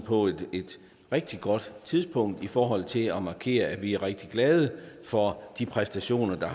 på et rigtig godt tidspunkt i forhold til at markere at vi er rigtig glade for de præstationer der